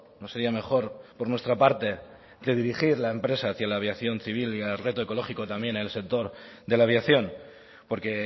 no sería mejor por nuestra parte redirigir la empresa hacia la aviación civil y el reto ecológico también en el sector de la aviación porque